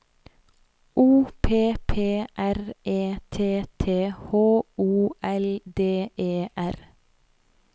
O P P R E T T H O L D E R